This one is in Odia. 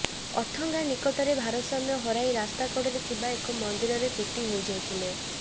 ଅଥଙ୍ଗା ନିକଟରେ ଭାରସାମ୍ୟ ହରାଇ ରାସ୍ତା କଡ଼ରେ ଥିବା ଏକ ମନ୍ଦିରରେ ପିଟି ହୋଇ ଯାଇଥିଲେ